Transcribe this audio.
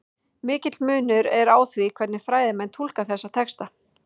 Mikill munur er á því hvernig fræðimenn túlka þessa texta.